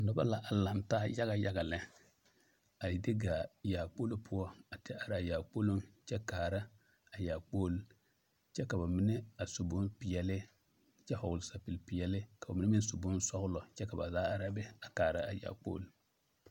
Noba a laŋ taa yaga yaga lɛ a de gaa yaakpolo poɔ a te are a yaakpoloŋ kyɛ kaara a yaakpol kyɛ ka ba mine a su bonpeɛllle kyɛ vɔgle sapige peɛlle ka ba mine meŋ vɔgle bonsɔglɔ kyɛ ka ba zaa are a be a kaara a yaakpol.